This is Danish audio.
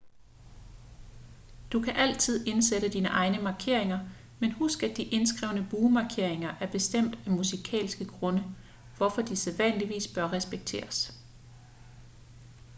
du kan altid indsætte dine egne markeringer men husk at de indskrevne buemarkeringer er bestemt af musikalske grunde hvorfor de sædvanligvis bør respekteres